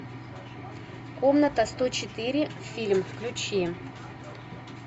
комната сто четыре фильм включи